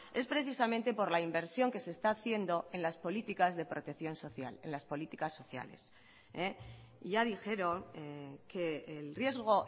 es precisamente por la inversión que se está haciendo en las políticas de protección social en las políticas sociales ya dijeron que el riesgo